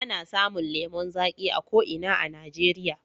Ana samun lemon zaƙi a ko ina a Najeriya.